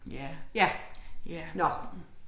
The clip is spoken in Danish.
Ja. Nåh